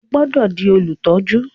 O gbódò dì Olutọju!